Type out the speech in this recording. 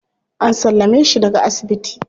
An sallame shi daga asibiti.